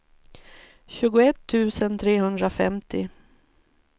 tjugoett tusen trehundrafemtio